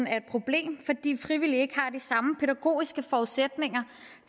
er et problem fordi frivillige ikke har de samme pædagogiske forudsætninger